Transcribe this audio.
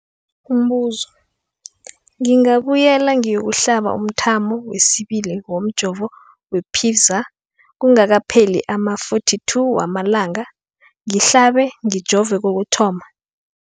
Umbuzo, ngingabuyela ngiyokuhlaba umthamo wesibili womjovo we-Pfizer kungakapheli ama-42 wamalanga ngihlabe, ngijove kokuthoma.